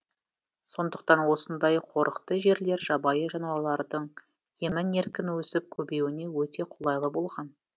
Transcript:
сондықтан осындай қорықты жерлер жабайы жануарлардың емін еркін өсіп көбеюіне өте қолайлы болған